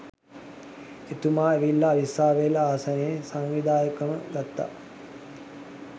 එතුමා ඇවිල්ලා අවිස්සාවේල්ල ආසනේ සංවිධායකකම ගත්තා